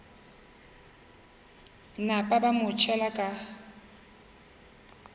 napa ba mo tšhela ka